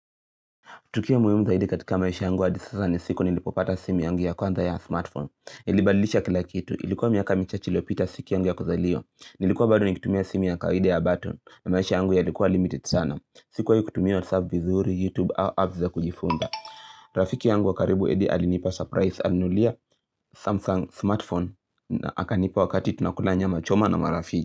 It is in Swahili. Tukio muimu zaidi katika maisha yangu hadi sasa ni siku nilipopata simi yangu ya kwanza ya smartphone. Ilibadilisha kila kitu. Ilikuwa miaka michache iliyopita siki yangu ya kuzaliwa Nilikuwa bado nikitumia simu ya kawaida ya button na maisha yangu yalikuwa limited sana. Sikuwai kutumia WhatsApp vizuri, YouTube au apps ya kujifunza. Rafiki yangu wakaribu Eddy alinipa surprise alininunulia Samsung smartphone na akanipa wakati tunakula nyama choma na marafiki.